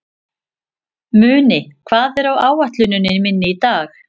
Muni, hvað er á áætluninni minni í dag?